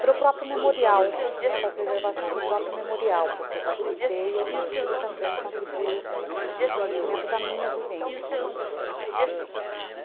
Para o próprio memorial, né, para a preservação do próprio memorial, porque eu participei e eu consigo também contribuir com o conhecimento da minha vivência.